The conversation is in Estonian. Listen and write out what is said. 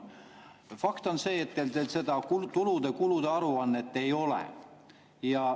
Fakt on see, et seda tulude-kulude aruannet ei ole.